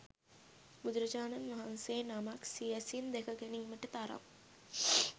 බුදුරජාණන් වහන්සේ නමක් සියැසින් දැක ගැනීමට තරම්